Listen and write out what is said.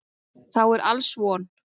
Þá er alls von.